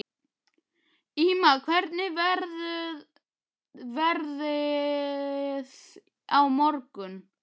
Ýma, hvernig verður veðrið á morgun?